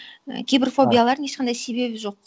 і кейбір фобиялардың ешқандай себебі жоқ